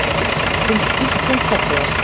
Finnst Ísland fallegast